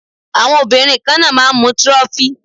Àwọn obìnrin kan náà máà ń mu trophy.